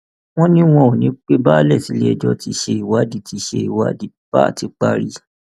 wọn ní wọn ò ní í pẹ balẹ sílẹẹjọ tíṣẹ ìwádìí tíṣẹ ìwádìí bá ti parí